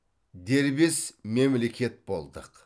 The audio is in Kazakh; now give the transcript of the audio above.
дербес мемлекет болдық